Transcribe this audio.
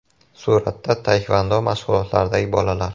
Suratda taekvondo mashg‘ulotlaridagi bolalar.